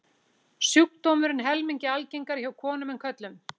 Sjúkdómurinn er helmingi algengari hjá konum en körlum.